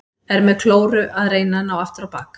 Er með klóru að reyna að ná aftur á bak.